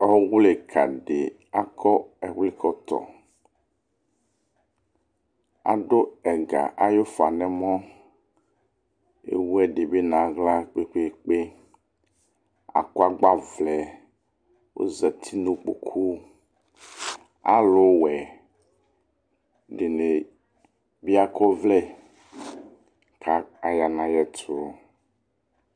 Ɔwlikã ɖi akɔ ɛwlikɔtɔ Aɖu ɛga ayu ufã nu ɛmɔ Ewu ɛɖibi nu aɣla kpekpekpe Akɔ agbawlɛ Ozati nu ikpóku Ãluwɛ ɖini bi akɔ ɔwlɛ, ku aya nu ayɛtu